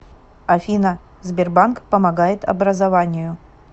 афина сбербанк помогает образованию